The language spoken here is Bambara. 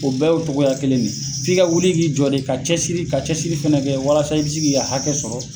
O bɛɛ y'o tɔgɔgoya kelen de ye, k'i ka wuli k'i ti jɔ ka cɛsiri fana kɛ walasa i bɛ se k'i ka hakɛ sɔrɔ.